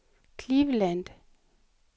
Cleveland